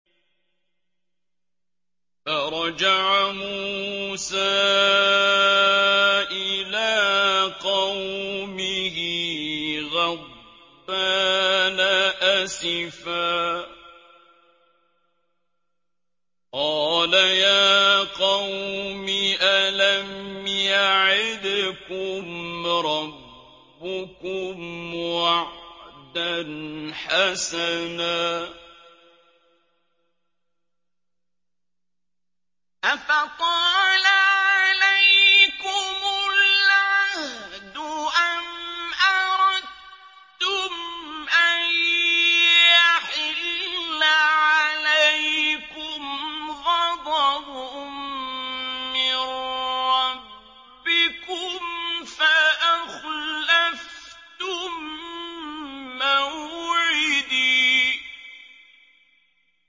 فَرَجَعَ مُوسَىٰ إِلَىٰ قَوْمِهِ غَضْبَانَ أَسِفًا ۚ قَالَ يَا قَوْمِ أَلَمْ يَعِدْكُمْ رَبُّكُمْ وَعْدًا حَسَنًا ۚ أَفَطَالَ عَلَيْكُمُ الْعَهْدُ أَمْ أَرَدتُّمْ أَن يَحِلَّ عَلَيْكُمْ غَضَبٌ مِّن رَّبِّكُمْ فَأَخْلَفْتُم مَّوْعِدِي